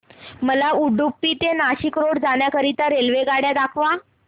मला उडुपी ते नाशिक रोड जाण्या करीता रेल्वेगाड्या दाखवा